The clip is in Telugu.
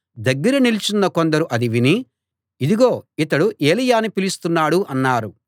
దగ్గర నిలుచున్న కొందరు అది విని ఇదిగో ఇతడు ఏలీయాను పిలుస్తున్నాడు అన్నారు